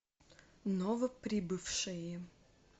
новоприбывшие